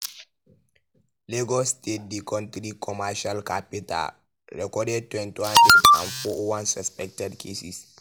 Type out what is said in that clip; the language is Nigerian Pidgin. lagos state di kontri commercial capital record twenty-one deaths and four oh one suspected cases.